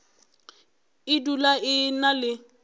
e dula e na le